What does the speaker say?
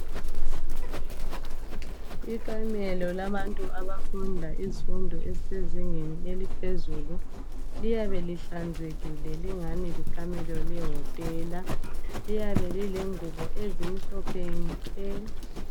Ikamelo labantu abafundayo izifundo ezisezingeni eliphezulu liyabe lihlanzekile lingani likamelo lehotela. Liyabe lilengubo ezimhlophe nke.